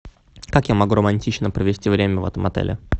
как я могу романтично провести время в этом отеле